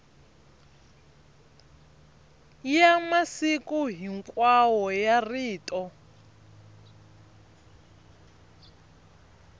ya masiku hinkwawo ya rito